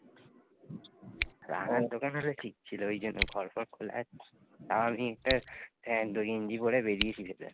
আর হম টুকে মেরেছি